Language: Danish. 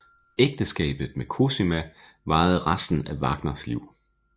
Ægteskabet med Cosima varede resten af Wagners liv